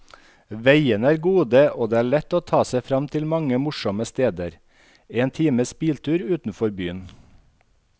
Veiene er gode, og det er lett å ta seg frem til mange morsomme steder én times biltur utenfor byen.